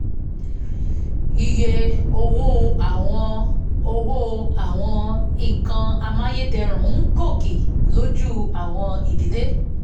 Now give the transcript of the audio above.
iye owó àwọn owó àwọn nǹkan amáyédẹrùn ń gòkè lójú àwọ̀n idílé